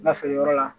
Lafeereyɔrɔ la